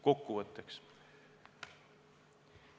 Kokkuvõtteks.